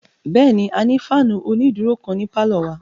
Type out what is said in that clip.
Bẹ́ẹ̀ni, a ní fáànù onídúró kan ní pálọ̀ wa